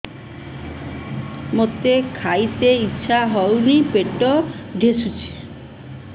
ମୋତେ ଖାଇତେ ଇଚ୍ଛା ହଉନି ପେଟ ଠେସୁଛି